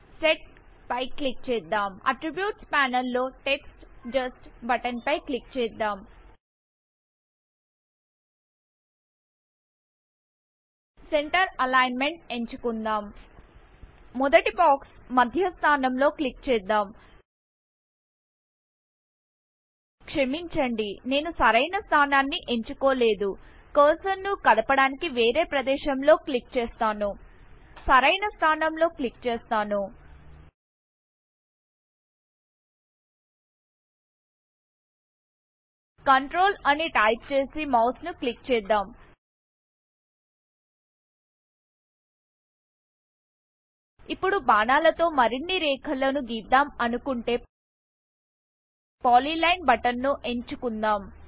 set click చేద్దాం attributes panel లోText just button పై క్లిక్ చేద్దాం సెంటర్ అలిగ్న్మెంట్ ఎంచుకుందాం మొదటి బాక్స్ మధ్య స్థానం లో క్లిక్ చేద్దాం క్షమించండి నేను సరైన స్థానాన్ని ఎంచుకోలేదు కర్సర్ ను కదపడానికి వేరే ప్రదేశం లో క్లిక్ చేస్తాను సరైన స్థానం లో క్లిక్ చేస్తాను controlఅని టైపు చేసి మౌస్ ను క్లిక్ చేద్దాం ఇప్పుడు బాణాల తో మరిన్ని రేఖలను గీద్దాం అనుకొంటే పాలిలైన్ బటన్ ని ఎంచుకుందాం